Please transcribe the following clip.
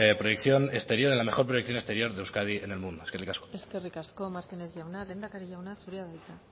proyección exterior en la mejor proyección de euskadi en el mundo eskerrik asko eskerrik asko martinez jauna lehendakari jauna zurea da hitza